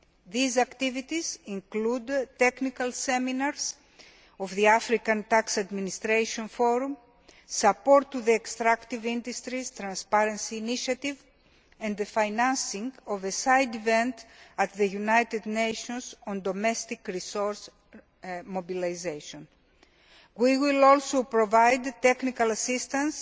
These activities include technical seminars of the African Tax Administration Forum, support to the extractive industries, transparency initiatives and the financing of a side event at the United Nations on domestic resource mobilisation. We will also provide technical assistance